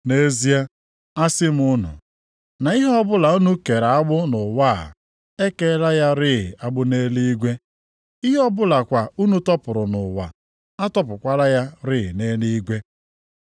“Nʼezie, asị m unu, na ihe ọbụla unu kere agbụ nʼụwa a, e keela ya rịị agbụ nʼeluigwe. Ihe ọbụla kwa unu tọpụrụ nʼụwa, a tọpụkwala ya rịị nʼeluigwe.